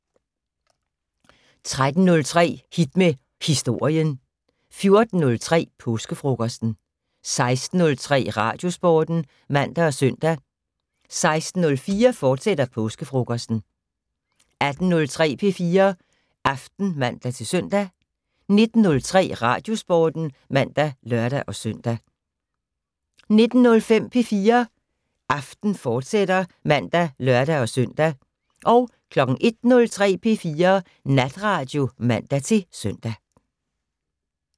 13:03: Hit med Historien 14:03: Påskefrokosten 16:03: Radiosporten (man og søn) 16:04: Påskefrokosten, fortsat 18:03: P4 Aften (man-søn) 19:03: Radiosporten (man og lør-søn) 19:05: P4 Aften, fortsat (man og lør-søn) 01:03: P4 Natradio (man-søn)